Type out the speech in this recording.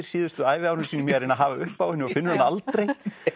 síðustu æviárum sínum í að reyna að hafa upp á henni og finnur hana aldrei